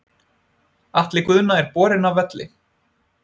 Atli Guðna er borinn af velli.